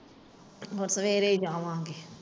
ਮੈਂ ਸਵੇਰੇ ਜਾਵਾਂਗੀ।